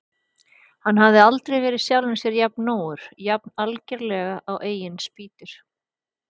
Hann hafði aldrei verið jafn sjálfum sér nógur, jafn algerlega á eigin spýtur.